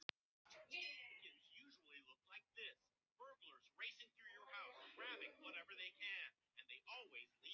Vilbjörn, hvað er að frétta?